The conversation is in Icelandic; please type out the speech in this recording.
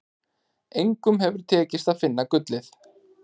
Engum hefur tekist að finna gullið.